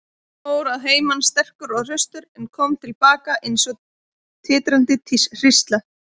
Hann fór að heiman sterkur og hraustur og kom til baka eins og titrandi hrísla.